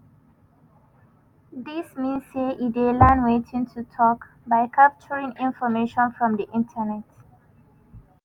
dis mean say e dey learn wetin to tok by capturing information from di internet.